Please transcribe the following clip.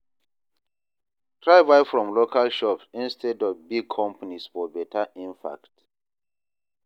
Try buy from local shops instead of big companies for beta impact.